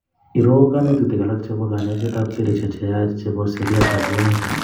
Iroo kanetutik alak chebo kanyoiset ab sellishek cheyech chebo seriat ab bwonik